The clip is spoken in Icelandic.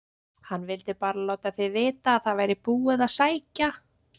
HANN VILDI BARA LÁTA ÞIG VITA AÐ ÞAÐ VÆRI BÚIÐ AÐ SÆKJA